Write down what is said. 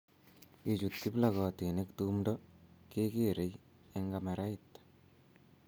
Ye chut kiplokotinik tumdo, kekerei eng kamerait